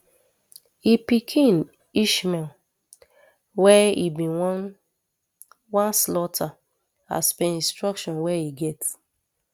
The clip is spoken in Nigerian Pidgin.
im pikin ismael wey e bin wan wan slaughter as per instruction wey e get